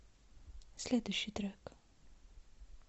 следующий трек